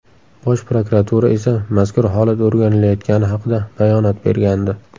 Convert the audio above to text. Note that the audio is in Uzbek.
Bosh prokuratura esa mazkur holat o‘rganilayotgani haqida bayonot bergandi.